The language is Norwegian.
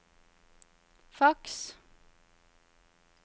faks